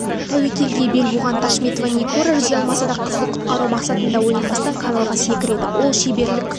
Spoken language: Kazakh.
тәуекелге бел буған ташметова нигора жүзе алмаса да қызды құтқару мақсатында ойланбастан каналға секіреді ол шеберлік